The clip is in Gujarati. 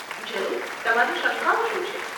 જરૂર, તમારી શંકાઓ શું છે?